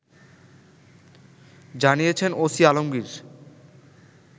জানিয়েছেন ওসি আলমগীর